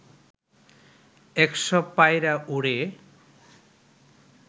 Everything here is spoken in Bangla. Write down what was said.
একশ পায়রা ওড়ে